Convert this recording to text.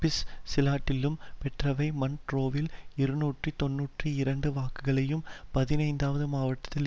ப்ஸ்சிலாண்டியிலும் பெற்றவை மண்ட்ரோவில் இருநூற்றி தொன்னூற்றி இரண்டு வாக்குகளையும் பதினைந்தாவது மாவட்டத்தில்